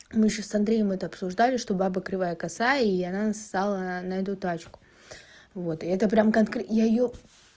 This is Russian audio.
мы ещё с андреем это обсуждали что баба кривая косая и она нассала на эту тачку вот это прямо как я её